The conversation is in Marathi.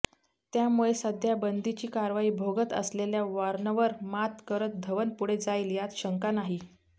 त्यामुळे सध्या बंदीची कारवाई भोगत असलेल्या वॉर्नरवर मात करत धवन पुढे जाईल यात शंका नाही